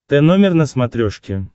тномер на смотрешке